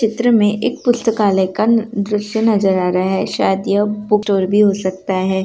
चित्र में एक पुस्तकालय का दृश्य नजर आ रहा है शायद यह बुक स्टोर भी हो सकता है।